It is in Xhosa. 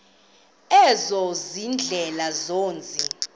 ezo ziindlela zomzi